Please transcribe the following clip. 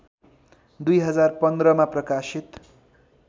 २०१५ मा प्रकाशित